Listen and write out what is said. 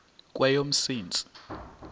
kweyomsintsi